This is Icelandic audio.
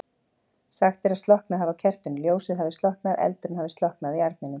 Sagt er að slokknað hafi á kertinu, ljósið hafi slokknað, eldurinn hafi slokknað í arninum.